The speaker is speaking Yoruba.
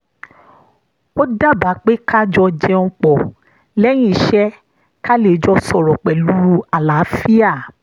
ó daba pé ká jọ jẹun pọ̀ lẹ́yìn iṣẹ́ ká lè jọ sọ̀rọ̀ pẹ̀lú àlàáfíà